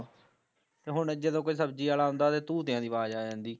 ਤੇ ਹੁਣ ਜਦੋਂ ਕੋਈ ਸਬਜ਼ੀ ਆਲਾ ਆਉਂਦਾ ਤੇ ਤੂਤਿਆ ਦੀ ਆਵਾਜ਼ ਆ ਜਾਂਦੀ